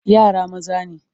Yara maza ne.